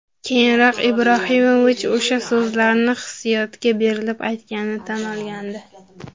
Keyinroq Ibrohimovich o‘sha so‘zlarni hissiyotga berilib aytganini tan olgandi.